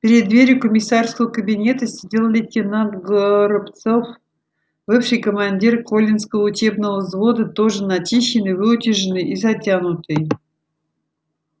перед дверью комиссарского кабинета сидел лейтенант горобцов бывший командир колинского учебного взвода тоже начищенный выутюженный и затянутый